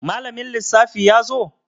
Malamin lissafi yazo?